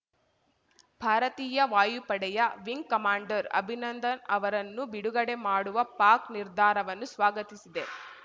ಭಾರತೀಯ ವಾಯುಪಡೆಯ wing commander Abhinandan ಅವರನ್ನು ಬಿಡುಗಡೆ ಮಾಡುವ ಪಾಕ್‌ ನಿರ್ಧಾರವನ್ನು ಸ್ವಾಗತಿಸಿದೆ